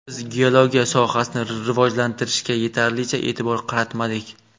Biz geologiya sohasini rivojlantirishga yetarlicha e’tibor qaratmadik.